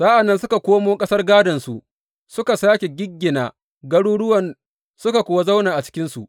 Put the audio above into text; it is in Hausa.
Sa’an nan suka komo ƙasar gādonsu suka sāke giggina garuruwan suka kuwa zauna a cikinsu.